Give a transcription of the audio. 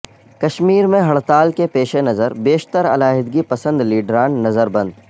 کشمیر میں ہڑتال کے پیش نظر بیشتر علاحدگی پسند لیڈران نظر بند